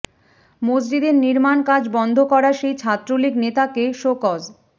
মসজিদের নির্মাণ কাজ বন্ধ করা সেই ছাত্রলীগ নেতাকে শোকজ